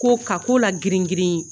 Ko ka ko la girin girin